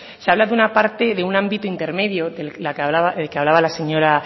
se habla de un ámbito intermedio del que hablaba la señora